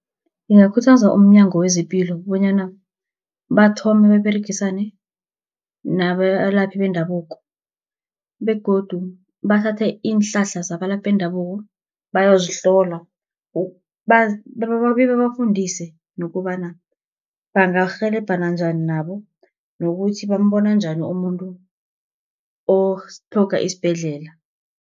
Bangakhuthaza umnyango wezepilo bonyana bathome baberegisane nabalaphi bendabuko, begodu bathathe iinhlahla zabalaphi bendabuko, bayozihlola bebabafundise nokobana bangarhelebhana njani nabo, nokuthi bambona njani umuntu otlhoga isibhedlela.